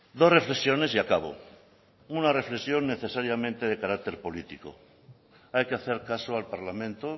dos reflexiones y acabo una reflexión necesariamente de carácter político hay que hacer caso al parlamento